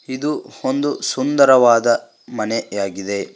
ಇದು ಒಂದು ಸುಂದರವಾದ ಮನೆ ಆಗಿದೆ.